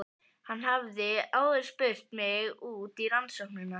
Hann hafði áður spurt mig út í rannsóknina.